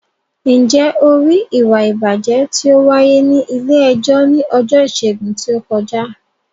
Ǹjẹ́ o rí ìwà ìbàjẹ́ tí ó wáyé ní ilé-ẹjọ́ ní ọjọ́ Ìṣẹ́gun tí ó kọjá?